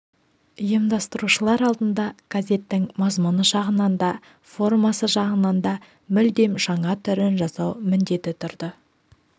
ұйымдастырушылар алдында газеттің мазмұны жағынан да формасы жағынан да мүлдем жаңа түрін жасау міндеті тұрды